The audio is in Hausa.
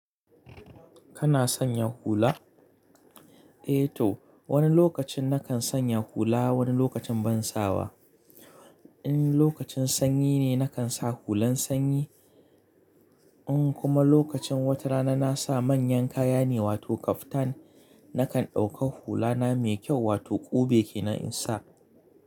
Kana sanya hula? Eh to wani lokacin nakan sanya hula wani lokacin ban sawa. In lokacin sanyi ne nakan sa hulan sanyi, in kuma lokacin wata rana na sa manyan kaya ne wato kaftan nakan dauka hula na mai kyau wato ƙube kenan in sa.